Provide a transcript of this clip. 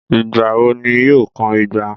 Ìgbà wo ní yóò kan igba?